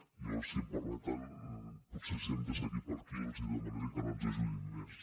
jo si em permeten potser si hem de seguir per aquí els demanaria que no ens ajudin més